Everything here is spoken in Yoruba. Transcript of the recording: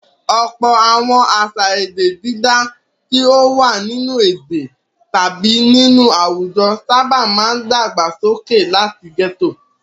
Ọ̀pọ̀ àwọn àṣà èdè dídá tí ó wà nínú èdè tàbí nínú àwùjọ sábà máa dàgbàsókè láti gẹ́tò.